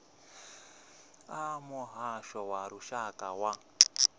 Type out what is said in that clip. a muhasho wa lushaka wa